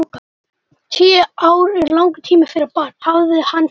Tíu ár eru langur tími fyrir barn, hafði hann sagt.